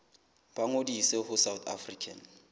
ba ngodise ho south african